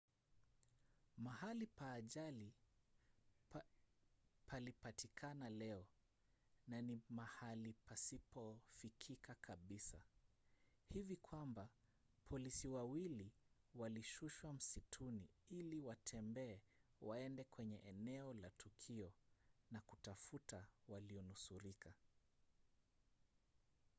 mahali pa ajali palipatikana leo na ni mahali pasipofikika kabisa hivi kwamba polisi wawili walishushwa msituni ili watembee waende kwenye eneo la tukio na kutafuta walionusurika